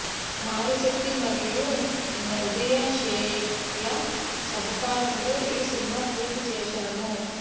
మారిశెట్టి మరియు నజియా షేక్ ల సహకారం తో ఈ సినిమా పూర్తి చేశాము